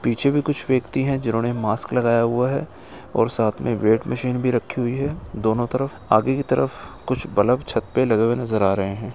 पीछे भी कुछ व्यक्ति है जिन्होंने मास्क लगाया हुआ है और साथ में वेट मशीन भी रखी हुई है। दोनों तरफ आगे की तरफ कुछ बल्ब छत पे लगे हुए नज़र आ रहे है।